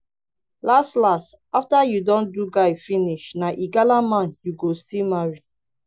las las after you don do guy finish na igala man you go still marry